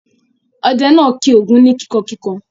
Ọdẹ náà kì Ògún ni kíkankíkan.